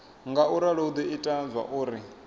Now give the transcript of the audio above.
ngauralo hu do ita zwauri